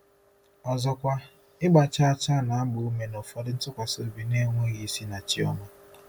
Ọzọkwa, ịgba chaa chaa na-agba ume n'ụfọdụ ntụkwasị obi na-enweghị isi na chi ọma.